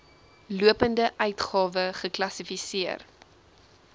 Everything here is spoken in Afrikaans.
lopende uitgawe geklassifiseer